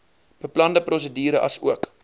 beplande prosedure asook